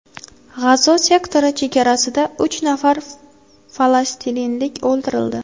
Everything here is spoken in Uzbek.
G‘azo sektori chegarasida uch nafar falastinlik o‘ldirildi.